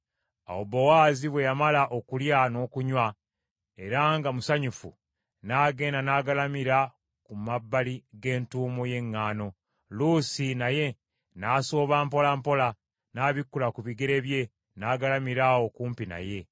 Awo Bowaazi bwe yamala okulya n’okunywa, era nga musanyufu, n’agenda n’agalamira ku mabbali g’entuumo ye ŋŋaano. Luusi naye n’asooba mpola mpola, n’abikkula ku bigere bye, n’agalamira awo kumpi naye.